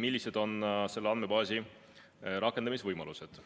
millised on selle andmebaasi rakendamisvõimalused.